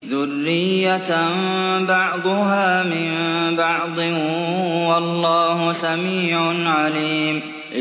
ذُرِّيَّةً بَعْضُهَا مِن بَعْضٍ ۗ وَاللَّهُ سَمِيعٌ عَلِيمٌ